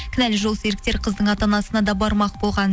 кінәлі жолсеріктер қыздың ата анасына да бармақ болған